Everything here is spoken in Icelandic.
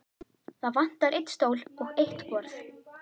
Það vantar einn stól og eitt borð.